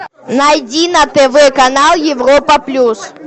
найди на тв канал европа плюс